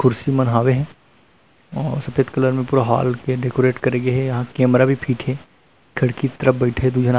कुर्सी मन हवे हे सफेद कलर में पूरा हॉल के डेकोरेट करे गे हे यहाँ कैमरा भी फिट हे खिड़की तरफ बईठे हे दु झन आदमी--